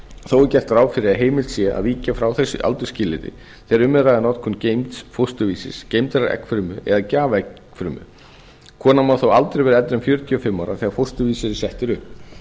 þó er gert ráð fyrir að heimilt sé að víkja frá þessu aldursskilyrði þegar hjá er að ræða geymds fósturvísis geymdrar eggfrumu eða gjafaeggfrumu konan má þó aldrei vera eldri en fjörutíu og fimm ára þegar fósturvísir er settur upp